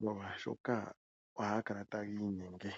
molwashoka ohaga kala tagiinyenge.